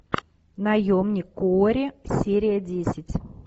наемник куорри серия десять